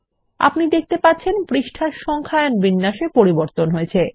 আপনি দেখতে পাচ্ছেন এখন পৃষ্ঠার সংখ্যায়ন শৈলীতে পরিবর্তন হয়ছে